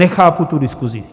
Nechápu tu diskusi.